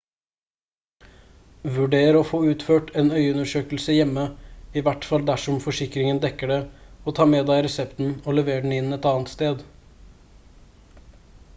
vurder å få utført en øyeundersøkelse hjemme i hvert fall dersom forsikringen dekker det og ta med deg resepten og lever den inn et annet sted